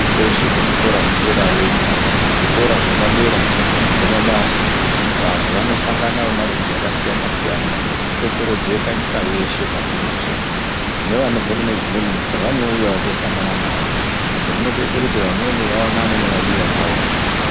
Kweshe kuzvikora zvederayo iyo zvikora zvepadera zvinofundirwe mabasa vantu vanosangana vemarudzi akasiyana siyana vanokokorodzeka nyika yeshe pasi rose nevanobve kune dzimweni nyika vanouyawo kunosangana nawo zvinotoita kuti vamweni vaonane nivadiwa vavo mukati mona.